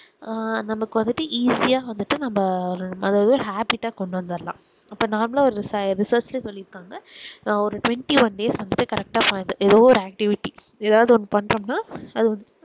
ஆஹ் நம்மக்கு வந்துட்டு easy வந்துட்டு நம்ம அதாவது habbit ஆஹ் கொண்டுவரலாம் அப்ப normal ஆஹ் ஒரு research சொல்லிருக்காங்க நான் ஒரு twentyone days வந்துட்டு correct எதோ ஒரு activity எதாவது பண்ணோம்னா அது வந்து